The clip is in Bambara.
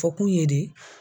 Fɔkun ye de